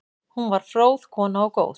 Hún var fróð kona og góð.